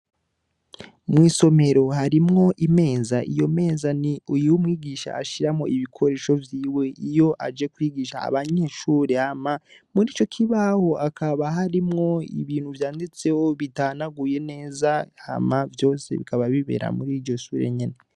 Mw'isomero harimwo imeza iyo meza ni uyiwe umwigisha ashiramo ibikoresho vyiwe iyo aje kwigisha abanyeshure hama muri co kibaho akaba harimwo ibintu vyanditsewo bitanaguye neza hama vyose bikaba bibera muri iyo sure nyene.